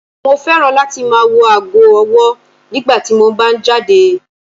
Mo fẹ́ràn láti máa wò aago ọwọ́ nígbà tí mo bá ń jáde.